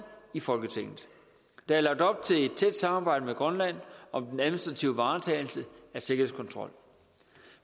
i folketinget der er lagt op til et tæt samarbejde med grønland om den administrative varetagelse af sikkerhedskontrol